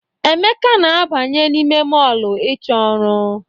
Emeka na-abanye n'ime mọọlụ ịchọ ọrụ.